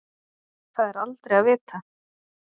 Það er aldrei að vita.